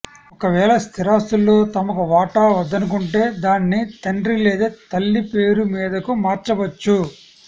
ఒకవేళ స్థిరాస్తుల్లో తమకు వాటా వద్దనుకుంటే దాన్ని తండ్రి లేదా తల్లి పేరు మీదకు మార్చవచ్చు